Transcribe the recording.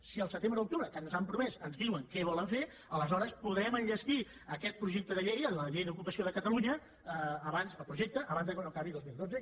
si al setembre o a l’octubre que ens ho han promès ens diuen què volen fer aleshores podrem enllestir aquest projecte de llei la llei d’ocupació de catalunya abans el projecte abans que acabi dos mil dotze